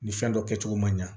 Nin fɛn dɔ kɛcogo man ɲa